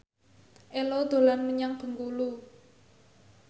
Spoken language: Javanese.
Ello dolan menyang Bengkulu